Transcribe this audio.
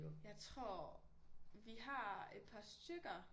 Jeg tror vi har et par stykker